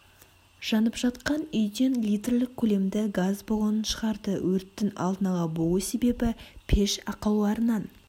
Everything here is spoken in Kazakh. жанып жатқан үйден литрлік көлемді газ баллонын шығарды өрттің алдын ала болу себебі пеш ақауларынан